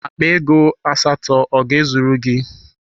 Akpa ego asatọ ọ ga-ezuru gị?